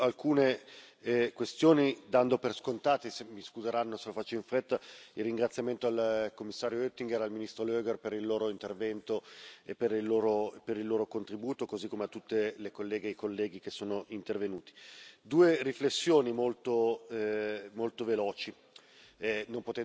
Mi concentrerò su alcune questioni, dando per scontato mi scuseranno se lo faccio in fretta il ringraziamento al commissario Oettinger e al ministro Loger per il loro intervento e per il loro contributo, così come a tutte le colleghe e i colleghi che sono intervenuti. Voglio fare due riflessioni molto molto veloci,